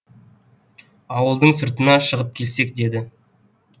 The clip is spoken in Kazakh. ауылдың сыртына шығып келсек деді